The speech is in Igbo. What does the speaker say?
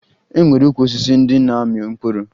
E nwere ukwu osisi ndị na-amị mkpụrụ